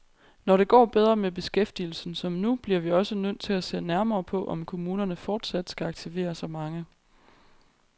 Når det går bedre med beskæftigelsen som nu, bliver vi også nødt til at se nærmere på, om kommunerne fortsat skal aktivere så mange.